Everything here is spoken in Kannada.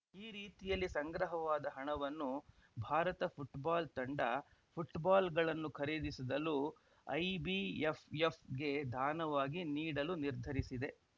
ಈ ರೀತಿಯಲ್ಲಿ ಸಂಗ್ರಹವಾದ ಹಣವನ್ನು ಭಾರತ ಫುಟ್ಬಾಲ್‌ ತಂಡ ಫುಟ್ಬಾಲ್‌ಗಳನ್ನು ಖರೀದಿಸಿದ್ದಲು ಐಬಿಎಫ್‌ಎಫ್‌ಗೆ ಧಾನವಾಗಿ ನೀಡಲು ನಿರ್ಧರಿಸಿದೆ